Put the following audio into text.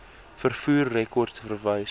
vervoer rekords verwys